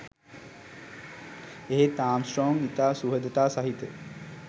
එහෙත් ආම්ස්ට්‍රෝං ඉතා සුහදතා සහිත